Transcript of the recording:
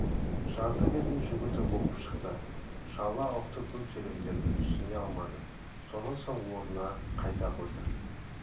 жарты бетін жүгіртіп оқып шықты шала ұқты көп сөйлемдерді түсіне алмады сонан соң орнына қайта қойды